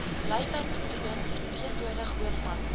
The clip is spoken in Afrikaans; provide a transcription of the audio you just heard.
luiperdpatroon verteenwoordig hoofman